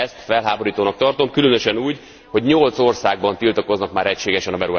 Ezt felháborítónak tartom, különösen úgy, hogy nyolc országban tiltakoznak már egységesen a beruházás ellen.